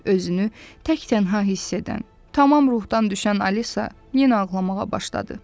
Özünü tək-tənha hiss edən, tamam ruhdan düşən Alisa yenə ağlamağa başladı.